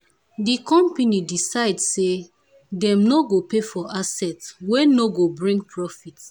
the company decide say dem no go pay for asset wey no go bring profit.